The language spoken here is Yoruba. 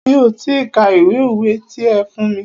Mi ò ti ka ìwé òwe ti ẹ fún mí.